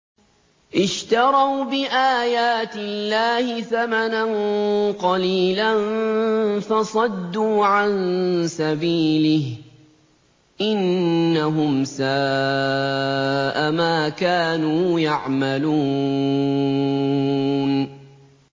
اشْتَرَوْا بِآيَاتِ اللَّهِ ثَمَنًا قَلِيلًا فَصَدُّوا عَن سَبِيلِهِ ۚ إِنَّهُمْ سَاءَ مَا كَانُوا يَعْمَلُونَ